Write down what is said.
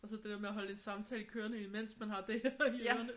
Og så det der med at holde en samtale kørende imens man har det her i ørerne